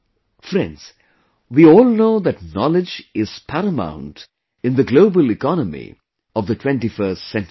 Friends, we all know that knowledge is paramount in the global economy of the 21st century